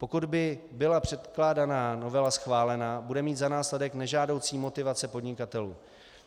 Pokud by byla předkládaná novela schválená, bude mít za následek nežádoucí motivace podnikatelů.